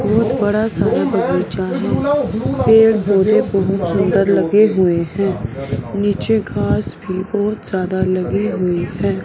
बहोत बड़ा सा यह बगीचा है पेड़ पूरे सुंदर लगे हुए है नीचे घास भी बहोत ज्यादा लगी हुई है।